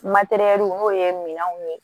n'o ye minɛnw ye